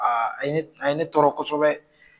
Aa, a ye ne tɔɔrɔ kosɛbɛ!